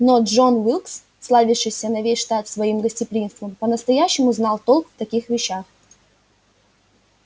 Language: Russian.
но джон уилкс славящийся на весь штат своим гостеприимством по-настоящему знал толк в таких вещах